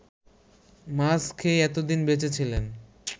মাছ খেয়ে এতোদিন বেঁচে ছিলেন